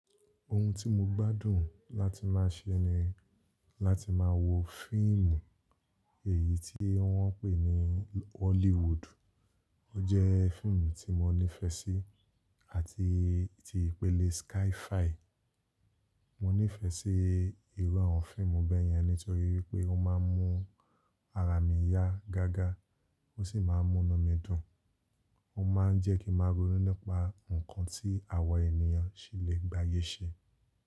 Ohun tí mo gbádùn láti máa ṣe ni láti máa wo fíìmù, èyí tí wọ́n ń pè ní Hollywood. Ò jẹ́ fíìmù tí mo nífẹ sí àti ti ìpele SkyFi. Mo nífẹ́ sí ìru awọ̀n fíìmù bẹ́yẹn nítorí wipé ó máa ń mú ara mi yá gágá, ó sì máa ń múnu mi dùn. Ó máa ń jẹ́ kí n màá rònú nípa ǹkan tí àwa ènìyàn ṣi lè gbayé ṣe.